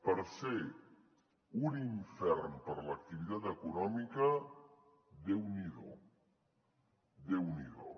per ser un infern per a l’activitat econòmica déu n’hi do déu n’hi do